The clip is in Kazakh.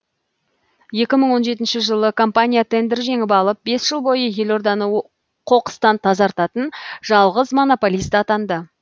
екі мың он жетінші жылы компания тендер жеңіп алып бес жыл бойы елорданы қоқыстан тазартатын жалғыз монополист атанды